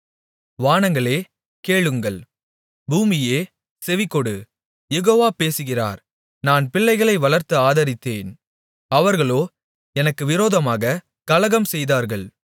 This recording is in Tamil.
வானங்களே கேளுங்கள் பூமியே செவிகொடு யெகோவா பேசுகிறார் நான் பிள்ளைகளை வளர்த்து ஆதரித்தேன் அவர்களோ எனக்கு விரோதமாகக் கலகம்செய்தார்கள்